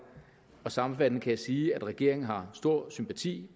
sammenfattende kan jeg sige at regeringen har stor sympati